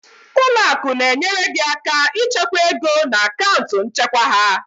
Ụlọ akụ na-enyere gị aka ịchekwa ego na akaụntụ nchekwa ha.